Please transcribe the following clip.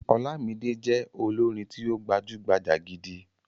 Ọlámídé jẹ́ olórin tí ó gbajúgbajà gidi.